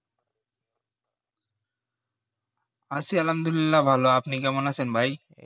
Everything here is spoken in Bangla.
আছি আল্লাহামদুল্লিয়া ভালো আপনি কেমন আছেন ভাই